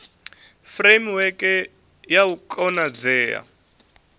furemiweke ya u konadzea ha